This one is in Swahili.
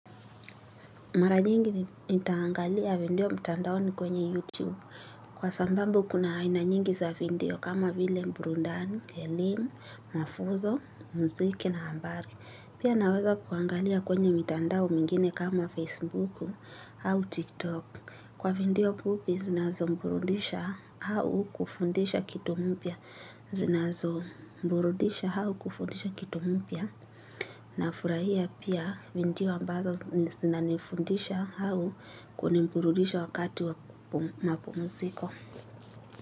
Mara nyingi nitaangalia video mtandao ni kwenye YouTube kwa sababu kuna aina nyingi za video kama vile burudani, elimu, mafunzo, muziki na habari. Pia naweza kuangalia kwenye mitandao mingine kama Facebook au TikTok. Kwa video fupi zinazoburudisha au kufundisha kitu mpya. Zinazo mburudisha au kufundisha kitu mpya. Na furahia pia video ambazo zinanifundisha au kuniburudisha wakati wa mapumuziko.